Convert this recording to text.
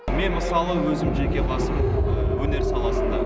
мен мысалы өзім жеке басым өнер саласында